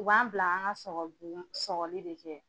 U b'an bila an ka sɔkɔli de kɛ.